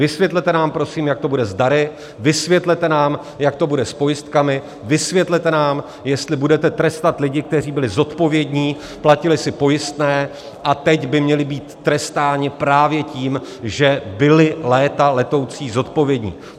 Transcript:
Vysvětlete nám prosím, jak to bude s dary, vysvětlete nám, jak to bude s pojistkami, vysvětlete nám, jestli budeme trestat lidi, kteří byli zodpovědní, platili si pojistné a teď by měli být trestáni právě tím, že byli léta letoucí zodpovědní.